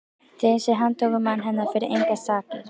Þeim sem handtóku mann hennar fyrir engar sakir!